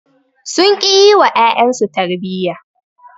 Sun ƙi yi wa ƴaƴansu su tarbiyya.